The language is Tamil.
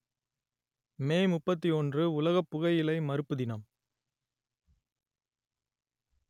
மே முப்பத்தி ஒன்று உலக புகையிலை மறுப்பு தினம்